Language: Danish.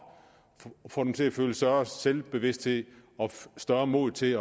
og får dem til at føle større selvbevidsthed og større mod til